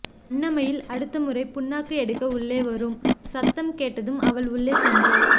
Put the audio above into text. அன்னமயில் அடுத்தமுறை புண்ணாக்கு எடுக்க உள்ளே வரும் சத்தம் கேட்டதும் அவள் உள்ளே சென்றாள்